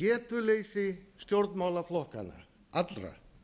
getu leysi stjórnmálaflokkanna allra